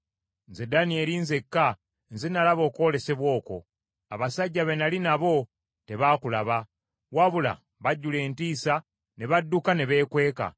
Nze Danyeri nzekka, nze nalaba okwolesebwa okwo, abasajja be nnali nabo tebaakulaba, wabula bajjula entiisa, ne badduka ne beekweka.